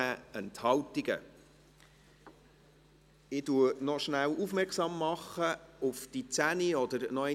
Sie haben die Gesetzesänderungen angenommen, mit 107 Ja- gegen 28 Nein-Stimmen bei 13 Enthaltungen.